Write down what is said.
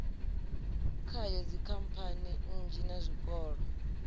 khayo dzikhamphani nnzhi na zwikolo